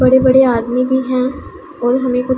बड़े बड़े आदमी भी हैं और हमें कु--